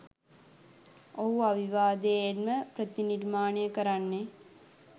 ඔහු අවිවාදයෙන්ම ප්‍රතිනිර්මාණය කරන්නේ